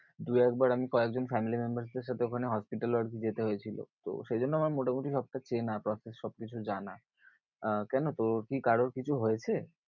দু একবার আমি কয়েকজন family member দের সাথে ওখানে hospital এও আর কি যেতে হয়েছিল। তো সেই জন্য আমার মোটামুটি সবটা চেনা পাশের সব কিছু জানা আহ কেন তোর কি কারোর কিছু হয়েছে?